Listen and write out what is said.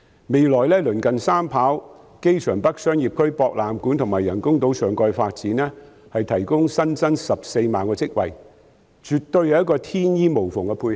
未來鄰近三跑、機場北商業區、博覽館及人工島上蓋的發展，將可增加14萬個職位，絕對是一個天衣無縫的配合。